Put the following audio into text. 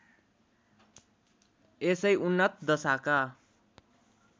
यसै उन्नत दशाका